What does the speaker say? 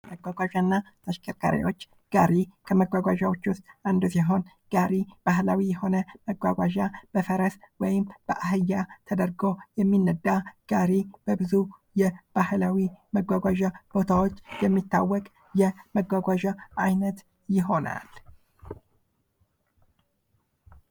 መጓጓዣና ተሽከርካሪዎች ጋሪ ከመጓጓዦች ውስጥ አንዱ ሲሆን ጋሪ ባህላዊ የሆነ መጓጓዣ በፈረስ ወይም በአህያ ተደርጎ የሚነዳ ጋሪ በብዙ የባህላዊ መጓጓዣ ቦታዎች የሚታወቅ የመጓጓዣ አይነት ይሆናል።